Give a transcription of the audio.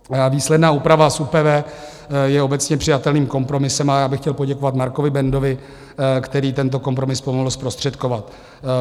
Výsledná úprava z ÚPV je obecně přijatelným kompromisem a já bych chtěl poděkovat Markovi Bendovi, který tento kompromis pomohl zprostředkovat.